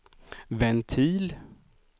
ventil